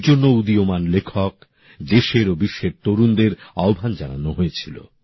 এর জন্য উদীয়মান লেখক দেশের ও বিশ্বের তরুণদের আহ্বান জানানো হয়েছিল